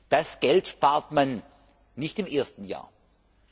Das Geld spart man nicht im ersten Jahr ein.